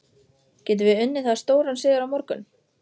Getum við unnið það stóran sigur á morgun?